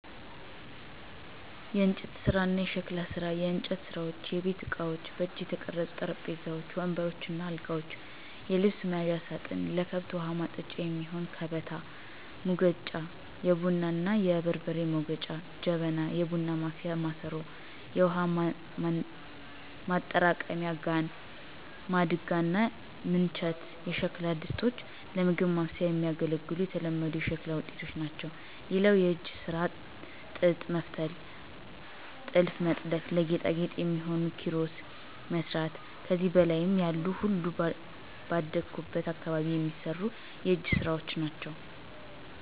**የእንጨት ስራ እና የሸክላ ስራ፦ *የእንጨት ስራዎች * የቤት እቃዎች: በእጅ የተቀረጹ ጠረጴዛዎች፣ ወንበሮች እና አልጋዎች፣ የልብስ መያዣ ሳጥን፣ ለከብት ውሀ ማጠጫ የሚሆን ከበታ፣ ሙገጫ(የቡና እና የበርበሬ መውገጫ) ጀበና (የቡና ማፍያ ማሰሮ)፣ የውሃ ማጠራቀሚያ ጋን፣ ማድጋ እና ምንቸት የሸክላ ድስቶች ለምግብ ማብሰያ የሚያገለግሉ የተለመዱ የሸክላ ውጤቶች ናቸው። *ሌላው የእጅ ስራ ጥጥ መፍተል *ጥልፍ መጥለፍ *ለጌጣጌጥ የሚሆኑ ኪሮስ መስራት ከዚህ በላይ ያሉ ሁሉም ባደኩበት አካባቢ የሚሰሩ የእጅ ስራወች ናቸው።